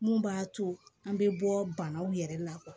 Mun b'a to an bɛ bɔ banaw yɛrɛ la